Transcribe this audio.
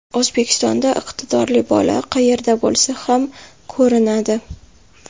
O‘zbekistonda iqtidorli bola qayerda bo‘lsa ham ko‘rinadi.